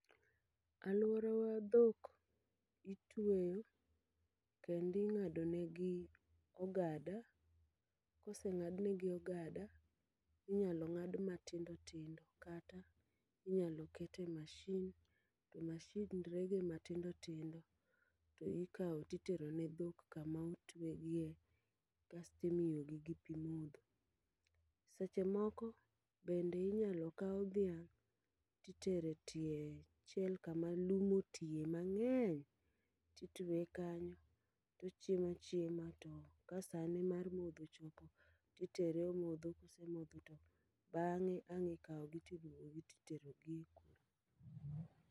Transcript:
Alworawa dhok itweyo kendi ng'ado negi ogada, koseng'adnegi ogada, inyalo ng'ad matindo tindo. Kata, inyalo kete mashin, to mashin rege matindo tindo to ikawo titero ne dhok kama otwegie, kasto imiyogi gi pi modho. Seche moko bende inyalo kaw dhiang' titere tie chiel kama lum otiye mang'eny, titweye kanyo tochiema chiema. To ka sa ne mar modho ochopo, titere omodho kosemodho to bang'e ang' ikawogi tibiewo gi titerogi e kul.